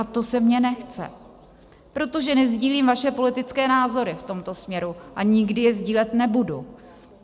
A to se mně nechce, protože nesdílím vaše politické názory v tomto směru a nikdy je sdílet nebudu.